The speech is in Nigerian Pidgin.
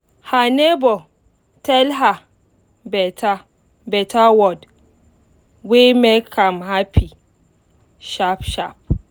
her neighbor tell her better word wey make am happy sharp sharp